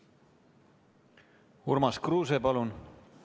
Urmas Kruuse, palun!